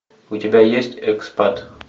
у тебя есть экспат